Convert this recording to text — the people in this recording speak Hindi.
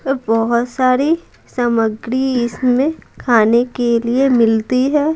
तो बहुत सारी सामग्री इसमें खाने के लिए मिलती है।